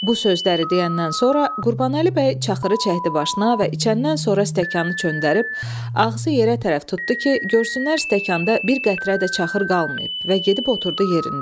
Bu sözləri deyəndən sonra Qurbanəli bəy çaxırı çəkdi başına və içəndən sonra stəkanı çöndərib ağzı yerə tərəf tutdu ki, görsünlər stəkanda bir qətrə də çaxır qalmayıb və gedib oturdu yerində.